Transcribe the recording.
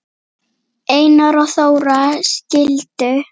Einar og Þóra skildu.